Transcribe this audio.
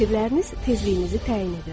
Fikirləriniz tezliyinizi təyin edir.